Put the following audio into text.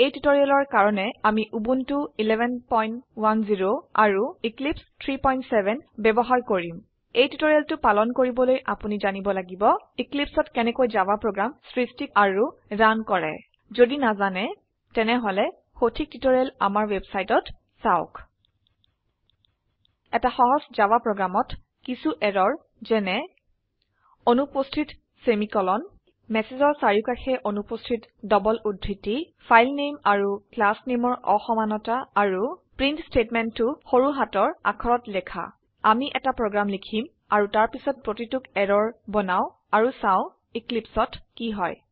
এই টিউটৰিয়েলৰ কাৰনে আমি উবুনটো 1110 আৰু এক্লিপছে 370 বয়ৱহাৰ কৰিম এই টিউটৰিয়েলটো পালন কৰিবলৈ আপোনি জানিব লাগিব এক্লিপছে অত কেনেকৈ জাভা প্ৰগ্ৰাম স্ৰস্টি আৰু ৰান কৰে যদি নাজানে তেনেহলে সঠিক টিউটৰিয়েল আমাৰ ৱেবচাইটত চাওক এটা সহজ জাভা প্ৰোগ্ৰাম ত কিছু এৰৰ যেনে অনুপস্থিত সেমিকোলন মেছেজৰ চাৰিউকাষে অনুপস্থিত ডবল উদ্ধৃতি ফাইল নেম আৰু ক্লাস নিমৰ অসমানতা আৰু প্ৰিন্ট স্টেটমেন্টটো সৰু হাতৰ আখৰত লিখা আমি এটা প্ৰোগ্ৰাম লিখিম আৰু তাৰপিছত প্ৰতিটোক এৰৰ বনাও আৰু চাও Eclipseত কি হয়